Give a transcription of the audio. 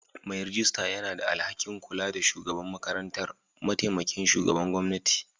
Mai rejista yana da alhakin kula da shugaban makarantar; mataimakin shugaban gwamnati.